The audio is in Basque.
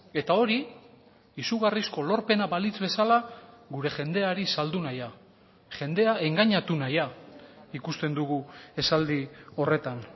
eta hori izugarrizko lorpena balitz bezala gure jendeari saldu nahia jendea engainatu nahia ikusten dugu esaldi horretan